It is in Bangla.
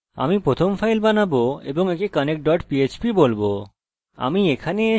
আমি প্রথম ফাইল বানাবো এবং একে connectphp বলবো